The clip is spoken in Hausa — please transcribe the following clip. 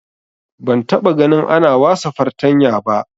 Ban taba gani ana wasa fartanya ba